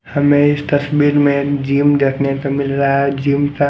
हमें इस तस्वीर में जिम देखने को मिल रहा है जिम का--